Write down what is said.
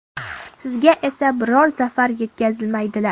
Sizga esa biror zarar yetkazmaydilar.